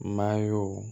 Mayo